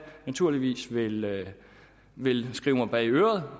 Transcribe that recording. naturligvis vil vil skrive mig bag øret